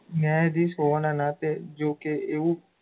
ન્યાયધીશ હોવાનાં નાતે જો કે એવું,